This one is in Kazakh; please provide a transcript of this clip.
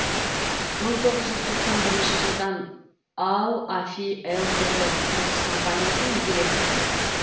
мың тоғыз жүз тоқсан бірінші жылдан ал афи лтд кұрылыс компаниясының директоры